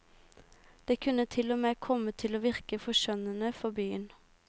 Det kunne til og med komme til å virke forskjønnende for byen.